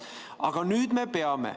Aga nüüd me peame.